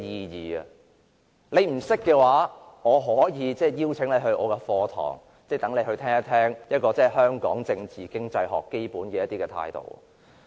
如果你不明白的話，我可以邀請你出席我的課堂，聽一聽香港政治經濟學的基本態度。